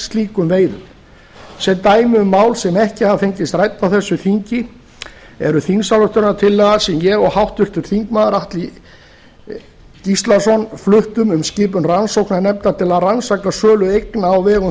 slíkum veiðum sem dæmi um mál sem ekki hafa fengist rædd á þessu þingi er þingsályktunartillaga sem ég og háttvirtir þingmenn atli gíslason fluttum um skipun rannsóknarnefndar til að rannsaka sölu eigna á vegum